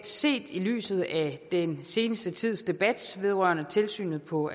set i lyset af den seneste tids debat vedrørende tilsynet på